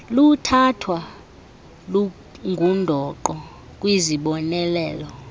luthathwa lungundoqo kwizibonelelo